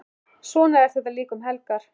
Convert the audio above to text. Svona er þetta líka um helgar.